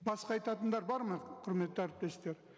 басқа айтатындар бар ма құрметті әріптестер